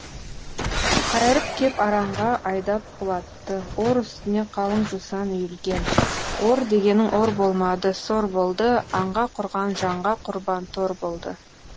қайырып кеп аранға айдап құлатты ор үстіне қалың жусан үйілген ор дегенің ор болмады сор болды аңға құрған жанға құрбан тор болды